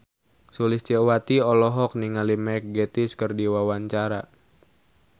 Sulistyowati olohok ningali Mark Gatiss keur diwawancara